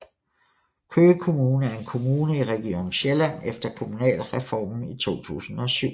Køge Kommune er en kommune i Region Sjælland efter Kommunalreformen i 2007